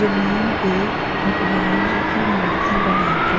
जमीन पे भगवान जी कि मूर्ति बनाकर --